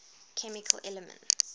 chemical elements